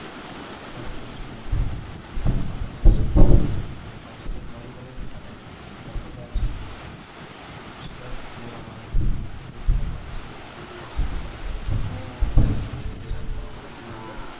ચલા તો ઓછુ રહે. આપણે શું ઓક્સિજન વધુ મળે છે અને. લેવામાં આવે છે. જેથી આપણે શું ઓક્સિજન મળી રહે છે તેથી આપણે પુરૂષાર્થ કરવા માટે ઘણા બધા.